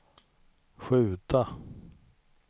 skjuta